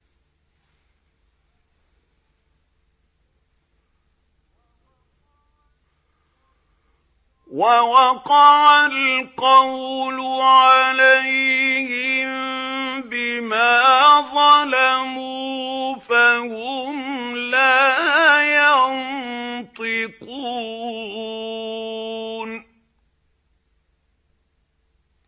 وَوَقَعَ الْقَوْلُ عَلَيْهِم بِمَا ظَلَمُوا فَهُمْ لَا يَنطِقُونَ